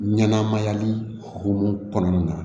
Ɲanamayali hokumu kɔnɔna na